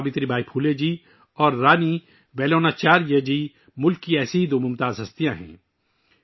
ساوتری بائی پھولے جی اور رانی ویلو ناچیار جی ملک کی دو ایسی ہی روشن شخصیتیں ہیں